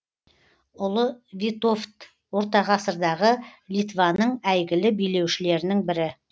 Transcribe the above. ұлы витовт ортағасырдағы литваның әйгілі билеушілерінің бірі